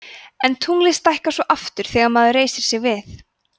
en tunglið stækkar svo aftur þegar maður reisir sig við